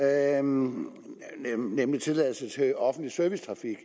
andet nemlig tilladelse til offentlig servicetrafik